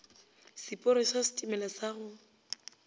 seporo sa setimela sa go